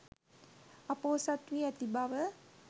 අ‍පොහොසත් වී ඇති බව